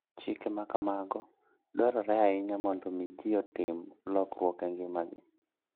Chike ma kamago dwarore ahinya mondo omi ji otim lokruok e ngimagi.